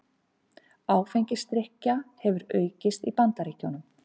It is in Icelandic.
Áfengisdrykkja hefur aukist í Bandaríkjunum